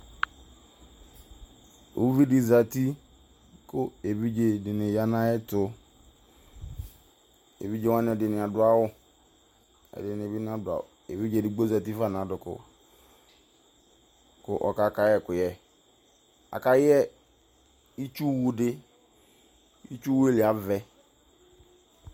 Uvi de zati ko evidze de ne ya no ayeto Evidze wane ɛdene ado awu, ɛdene be nado awuEvidze edigbo zati fa no adoko ko ɔka kai ɛkuyɛ Aka yp itsuwu de Itsuwaɛ li avɛ